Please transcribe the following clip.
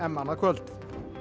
annað kvöld